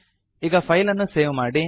ಈಗ ಫೈಲ್ ಅನ್ನು ಸೇವ್ ಮಾಡಿ